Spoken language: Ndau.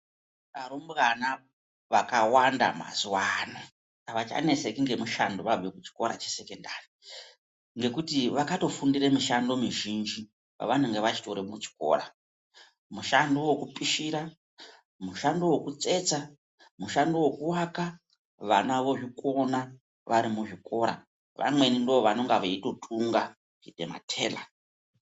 Arumbwana vakawanda mazuwa ano avachaneseki ngemushando vabve kuchikora chesekendari ngekuti vakatofundire muzhinji pavanenge vachitori kuchikora Mushando wokupishira mushando wekutsetsa mushando wokuaka vana vozvikona vari muzvikora vamweni ndovanenga veitotunga kuite matela.